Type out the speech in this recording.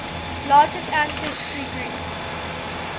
largest ancestry groups